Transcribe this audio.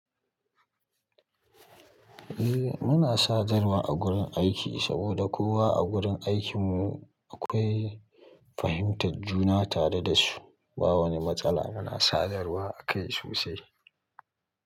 Eh muna sadarwa a gurin aiki saboda kowa a gurin aikin mu akwai fahimtar juna tare da su. Ba wani matsala muna sadarwa akai sosai.